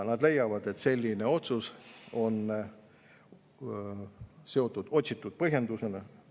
Nad leiavad, et selline otsus on seotud otsitud põhjendusega.